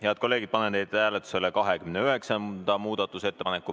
Head kolleegid, panen teie ette hääletusele 29. muudatusettepaneku.